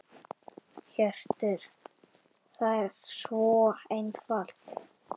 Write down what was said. Hjörtur: Það er svo einfalt?